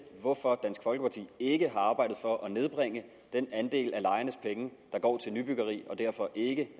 hvorfor dansk folkeparti ikke har arbejdet for at nedbringe den andel af lejernes penge der går til nybyggeri og derfor ikke